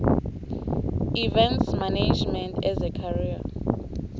events management as a career